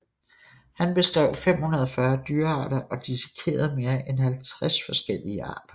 Han beskrev 540 dyrearter og dissekerede mere end 50 forskellige arter